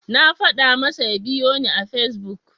Na faɗa masa ya biyoni a Fesbuk.